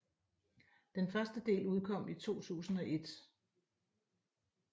Den første del udkom i 2001